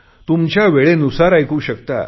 तुमच्या वेळेनुसार ऐकू शकता